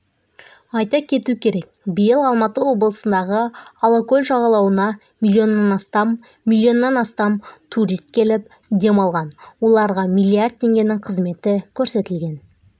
айта кету керек биыл алматы облысындағы алакөл жағалауына миллионнан астам миллионнан астам турист келіп демалған оларға миллиард теңгенің қызметі көрсетілген